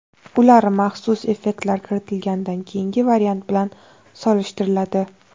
Ular maxsus effektlar kiritilganidan keyingi variant bilan solishtiriladi.